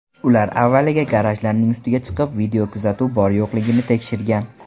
Ular avvaliga garajlarning ustiga chiqib, videokuzatuv bor-yo‘qligini tekshirgan.